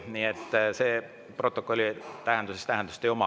Nii et see protokolli tähenduses tähendust ei oma.